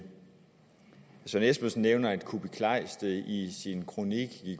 så espersen nævner at kuupik kleist i sin kronik